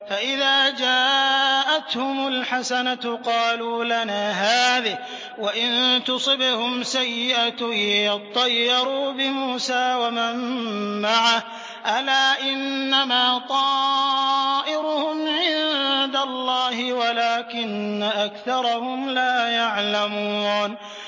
فَإِذَا جَاءَتْهُمُ الْحَسَنَةُ قَالُوا لَنَا هَٰذِهِ ۖ وَإِن تُصِبْهُمْ سَيِّئَةٌ يَطَّيَّرُوا بِمُوسَىٰ وَمَن مَّعَهُ ۗ أَلَا إِنَّمَا طَائِرُهُمْ عِندَ اللَّهِ وَلَٰكِنَّ أَكْثَرَهُمْ لَا يَعْلَمُونَ